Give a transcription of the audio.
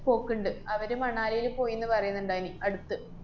പോക്ക്ണ്ട്. അവര് മണാലീല് പോയീന്ന് പറയ്ന്ന്ണ്ടായിന്, അടുത്ത്